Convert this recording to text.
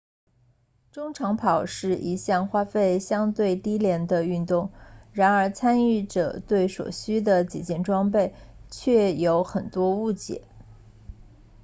中长跑是一项花费相对低廉的运动然而参与者对所需的几件装备却有很多误解